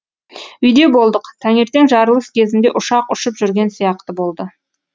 үйде болдық таңертең жарылыс кезінде ұшақ ұшып жүрген сияқты болды